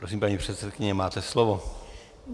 Prosím, paní předsedkyně, máte slovo.